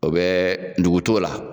O bɛ dogo t'o la.